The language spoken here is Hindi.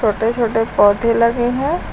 छोटे छोटे पौधे लगे हैं।